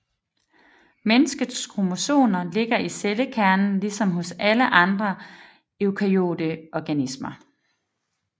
Menneskets kromosomer ligger i cellekernen ligesom hos alle andre eukaryote organismer